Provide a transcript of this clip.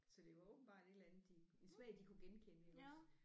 Så det var åbenbart et eller andet de en smag de kunne genkende iggås